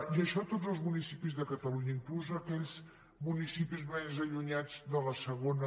i això a tots els municipis de catalunya inclús aquells municipis més allunyats de la segona